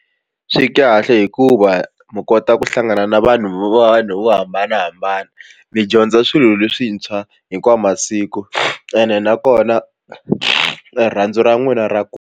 Swi kahle hikuva mi kota ku hlangana na vanhu vo hambanahambana mi dyondza swilo leswintshwa hinkwawu masiku ene nakona rirhandzu ra n'wina ra .